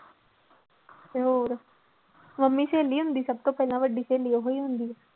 ਤੇ ਹੋਰ ਮੰਮੀ ਸਹੇਲੀ ਹੁੰਦੀ ਸਭ ਤੋਂ ਪਹਿਲਾਂ ਵੱਡੀ ਸਹੇਲੀ ਉਹੀ ਹੁੰਦੀ।